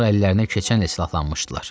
Onlar əllərinə keçənlə silahlanmışdılar.